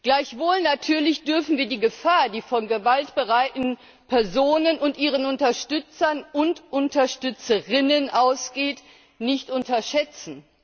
Gleichwohl natürlich dürfen wir die Gefahr, die von gewaltbereiten Personen und ihren Unterstützern und ihren Unterstützerinnen ausgeht, nicht unterschätzen.